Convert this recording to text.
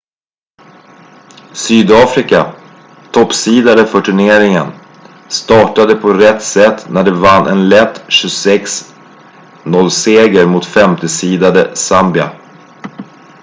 sydafrika toppseedade för turneringen startade på rätt sätt när de vann en lätt 26-0-seger mot femteseedade zambia